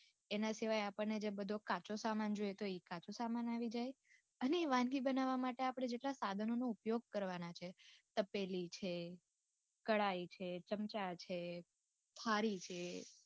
એના સિવાય આપણે જે બધો કાચો સામાન જોયેતો એ કાચો સામાન આવી જાય અને ઇ વાનગી બનાવા માટે આપણે જેટલા સાધનોનો ઉપયોગ કરવાના છીએ તપેલી છે , કડાઈ છે, ચમચા છે, થાળી છે